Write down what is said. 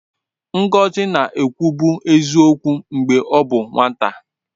Ngọzi na-ekwubu eziokwu mgbe ọ bụ nwata.